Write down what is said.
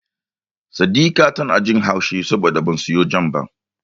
Saddika tana jin haushi saboda ban siyo Jam ba.